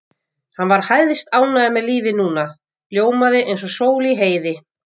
Hann var hæstánægður með lífið núna, ljómaði eins og sól í heiði.